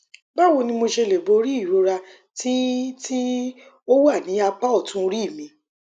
báwo ni mo ṣe lè borí ìrora tí tí ó wà ní apá ọtún orí mi